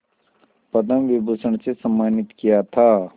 पद्म विभूषण से सम्मानित किया था